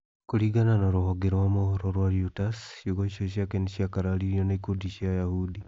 Kũringana na rũhonge rwa mohoro rwa Reuters, ciugo icio ciake nĩ cia kararirio nĩ ikundi cia Ayahudi.